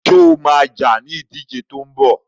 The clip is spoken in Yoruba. Sọ ma jà ní ìdíje tó ń bọ̀?